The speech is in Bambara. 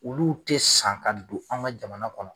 Olu tɛ san ka don an ga jamana kɔnɔ